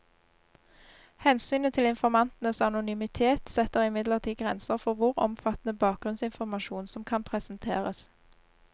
Hensynet til informantenes anonymitet setter imidlertid grenser for hvor omfattende bakgrunnsinformasjon som kan presenteres.